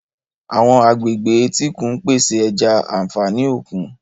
Àwọn agbègbè etíkun ń pèsè ẹja, àfààní òkun.